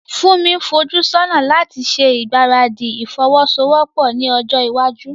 Funmi ń fojú sọ́nà láti ṣe ìgbáradì ìfọwọ́sowọ́pọ̀ ní ọjọ́ iwájú.